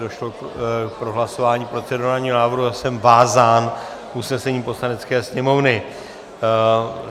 Došlo k prohlasování procedurálního návrhu a jsem vázán usnesením Poslanecké sněmovny.